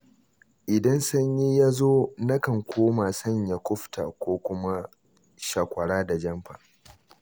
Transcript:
Idan sanyi ya zo nakan koma sanya kufta ko kuma shakwara da jamfa.